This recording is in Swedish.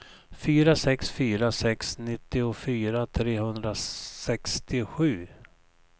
fyra sex fyra sex nittiofyra trehundrasextiosju